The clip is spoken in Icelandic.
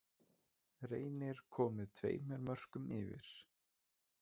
Reynir komið tveimur mörkum yfir.